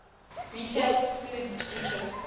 retail foods interests